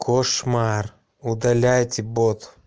кошмар удаляйте бот